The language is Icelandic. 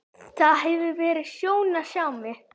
Það hefur verið sjón að sjá mig.